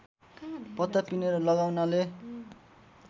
पत्ता पिनेर लगाउनाले